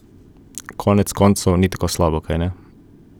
Konec koncev ni tako slabo, kajne?